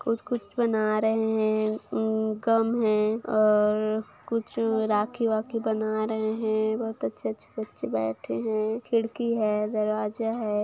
कुछ-कुछ बना रहे है गम है और कुछ राखी-वाखी बना रहे है बहोत अच्छे-अच्छे बच्चे बैठे है खिड़की है दरवाजा है।